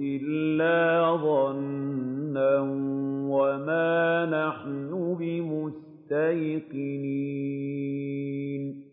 إِلَّا ظَنًّا وَمَا نَحْنُ بِمُسْتَيْقِنِينَ